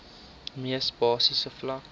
mees basiese vlak